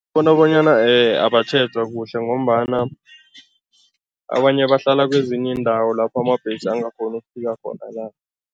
Bona bonyana abatjhejwa kuhle ngombana abanye bahlala kwezinye iindawo lapho amabhesi angakghoni ukufika khona la.